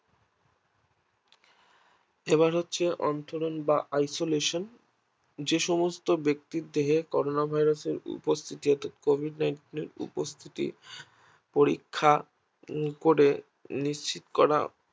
এবার হচ্ছে অন্তরন বা Isolation যেসমস্ত ব্যাক্তিদের দেহে করোনা Virus উপস্থিতি বা কোভিড nineteen এর উপস্থিতি পরীক্ষা করে নিশ্চিত করা